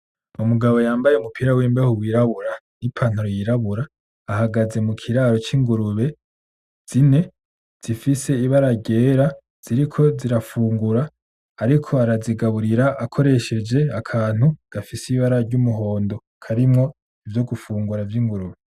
Umugabo yambaye umupira w'imbeho wirabura ni pantaro yirabura, ahagaze mu kiraro c'ingurube zine, zifise ibara ryera ziriko ziranfungura ariko arazigaburira akoresheje akantu gafise ibara ry'umuhondo. Karimwo ivyo gufungura vy'ingurube.